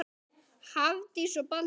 Hafdís og Baldur.